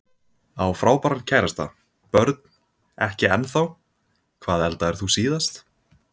Á frábæran kærasta Börn: Ekki ennþá Hvað eldaðir þú síðast?